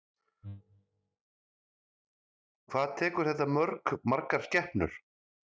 Hvað tekur þetta mörg, margar skepnur?